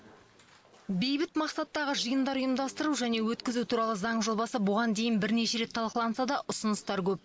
бейбіт мақсаттағы жиындар ұйымдастыру және өткізу туралы заң жобасы бұған дейін бірнеше рет талқыланса да ұсыныстар көп